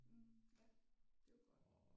Mhm ja det er jo godt